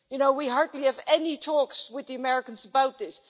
we hardly have any talks with the Americans about this'.